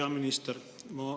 Hea minister!